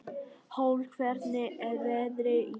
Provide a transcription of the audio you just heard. Hólm, hvernig er veðrið í dag?